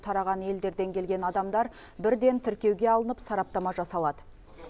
тараған елдерден келген адамдар бірден тіркеуге алынып сараптама жасалады